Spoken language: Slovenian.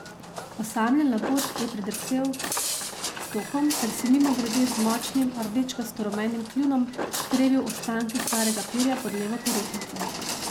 Osamljen labod je pridrsel s tokom ter si mimogrede z močnim, rdečkasto rumenim kljunom trebil ostanke starega perja pod levo perutnico.